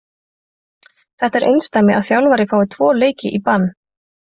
Þetta er einsdæmi að þjálfari fái tvo leiki í bann.